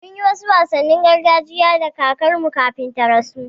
Mun yi wasu wasannin gargajiya da kakarmu kafin ta rasu.